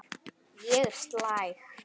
Ég er slæg.